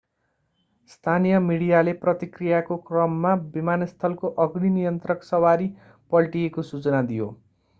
स्थानीय मिडियाले प्रतिक्रियाको क्रममा विमानस्थलको अग्नि नियन्त्रक सवारी पल्टिएको सूचना दियो